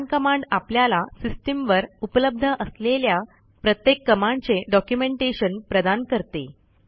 मन कमांड आपल्याला सिस्टीमवर उपलब्ध असलेल्या प्रत्येक कमांडचे डॉक्युमेंटेशन प्रदान करते